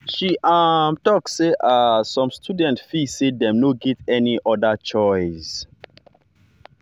she um talk say um some students feel say dem no get any other choice. any other choice.